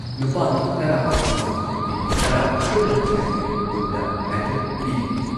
ꯅꯨꯄꯥꯥꯒꯤ ꯇꯔꯥ ꯑꯃꯁꯨꯡ ꯅꯨꯄꯤꯒꯤ ꯇꯔꯥ ꯄꯨꯟꯅ ꯀꯦꯇꯒꯣꯔꯤ ꯀꯨꯟꯗ ꯃꯦꯗꯜ ꯄꯤꯒꯅꯤ ꯫